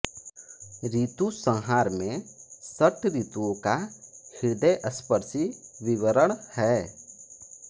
ऋतुसंहार में षट ऋतुओं का हृदयस्पर्शी विवरण है